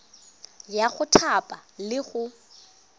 ya go thapa le go